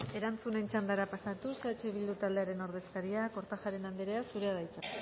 erantzunen txandara pasatuz eh bildu taldearen ordezkariak kortajarena anderea zurea da hitza